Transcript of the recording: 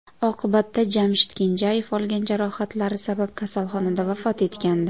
Oqibatda Jamshid Kenjayev olgan jarohatlari sabab kasalxonada vafot etgandi.